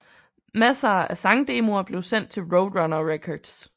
Masser af sangdemoer blev sendt til Roadrunner Records